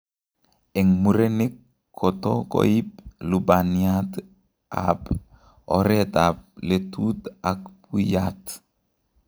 Eng' murenik koto koib lubaniat ab oret ab letut ak buiyat